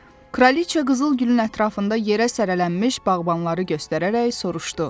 Kraliç qızıl gülün ətrafında yerə sərlənmiş bağbanları göstərərək soruşdu: